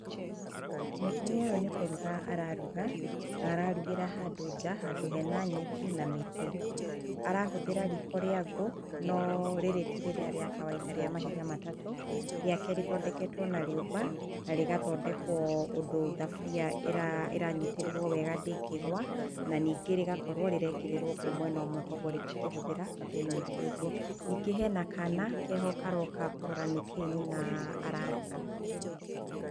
Mũtumia ũyũ nĩ kũruga araruga na ararugĩra handũ nja, handũ hena nyeki na mĩtĩ. Arahũthĩra riko rĩa ngũ, no rĩrĩ ti rĩrĩa rĩa kawaida, rĩa mahiga matatũ. Rĩake rĩthondeketwo na rĩũmba, na rĩgathondekwo ũndũ thaburia ĩranyitĩrĩrwo wega, ndĩngĩgwa na ningĩ rĩgakorwo rĩraĩkĩrĩrwo ngũ mwena ũmwe, kwoguo rĩtingĩhũthĩra ngũ nyingĩ ũguo. Ningĩ hena kana, karoka kũrora nĩkĩĩ nyina araruga.